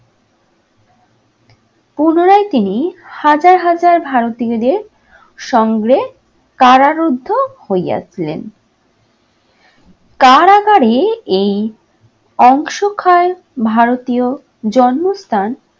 তিনি হাজার হাজার ভারতীয়দের সঙ্গে কারারুদ্ধ হইয়াছিলেন। কারাগারে এই অংশক্ষয় ভারতীয় জন্মস্থান